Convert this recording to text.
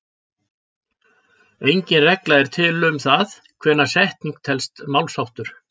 Engin regla er til um það hvenær setning telst málsháttur.